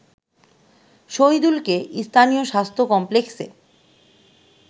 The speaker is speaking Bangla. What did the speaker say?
শহিদুলকে স্থানীয় স্বাস্থ্য কমপ্লেক্সে